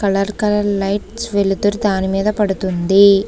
Colour colour lights వెలుతురు దాని మీద పడుతుంది.